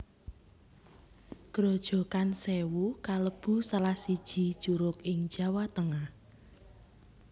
Grojogan Sèwu kalebu salah siji curug ing Jawa Tengah